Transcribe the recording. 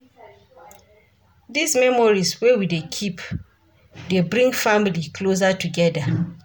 Dese memories wey we dey keep dey bring family closer togeda.